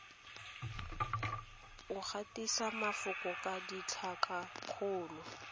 o gatise mafoko ka ditlhakakgolo